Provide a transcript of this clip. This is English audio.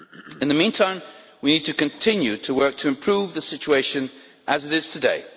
In the meantime, we need to continue to work to improve the situation as it is today.